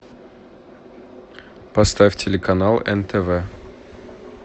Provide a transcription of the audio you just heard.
поставь телеканал нтв